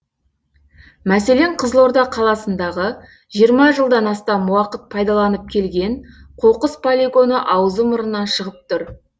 мәселен қызылорда қаласындағы жиырма жылдан астам уақыт пайдаланып келген қоқыс полигоны аузы мұрнынан шығып тұр